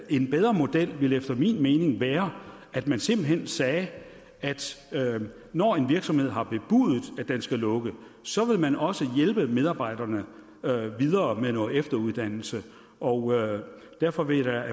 en bedre model efter min mening ville være at man simpelt hen sagde at når en virksomhed har bebudet at den skal lukke så vil man også hjælpe medarbejderne videre med noget efteruddannelse og derfor vil jeg